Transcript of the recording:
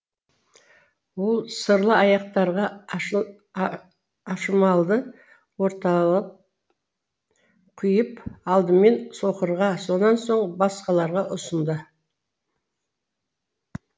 ол сырлы аяқтарға ашымалды орталап құйып алдымен соқырға сонан соң басқаларына ұсынды